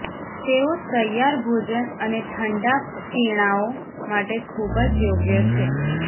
તેઓ તૈયાર ભોજન અને ઠંડા પીણાંઓ માટે ખૂબ જ યોગ્ય છે